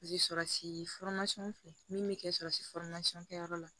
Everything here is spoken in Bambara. Sɔrurasi fɛ min bɛ kɛ surɔsi fɔrimasiyɔn kɛyɔrɔ la